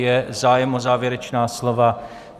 Je zájem o závěrečná slova?